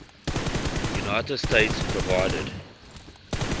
united states provided